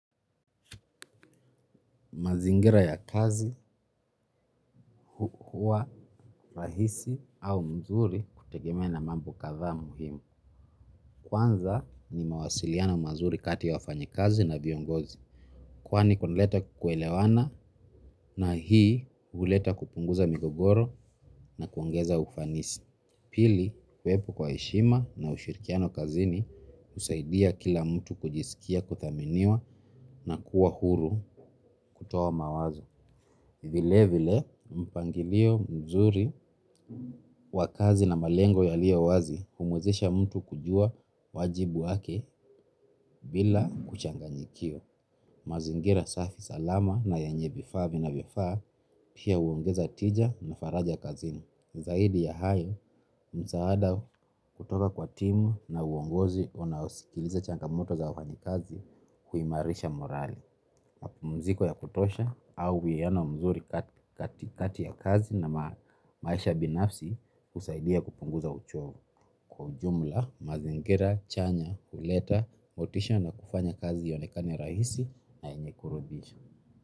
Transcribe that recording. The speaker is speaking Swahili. Mazingira ya kazi huwa rahisi au mzuri kutegemea na mambo kadhaa muhimu. Kwanza ni mawasiliano mazuri kati ya wafanyakazi na viongozi. Kwani kunaleta kuelewana na hii huleta kupunguza migogoro na kuongeza ufanisi. Pili, kuwepo kwa heshima na ushirikiano kazini kusaidia kila mtu kujisikia kuthaminiwa na kuwa huru kutoa mawazo. Vile vile mpangilio mzuri wa kazi na malengo yaliyo wazi humwezesha mtu kujua wajibu wake bila kuchanganyikiwa. Mazingira safi salama na yenye vifaa vinavyofaa pia huongeza tija na faraja kazini. Zaidi ya hayo msaada kutoka kwa timu na uongozi unaosikiliza changamoto za wafanyakazi kuimarisha morali. Mapumziko ya kutosha au uwiano mzuri katikati ya kazi na maisha binafsi husaidia kupunguza uchovu kwa ujumla mazingira chanya huleta motisha na kufanya kazi ionekane rahisi na yenye kuridhisha.